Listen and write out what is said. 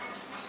Bu tərəf.